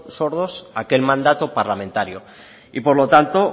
sordos a aquel mandato parlamentario y por lo tanto